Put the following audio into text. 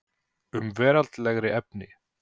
Um veraldlegri efni